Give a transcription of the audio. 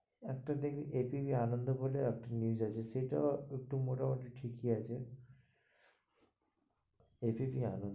একটা দেখবে ABP আনন্দ বলে, একটা news আছে, সেটাও একটু মোটামুটি ঠিক এ আছে ABP আনন্দ।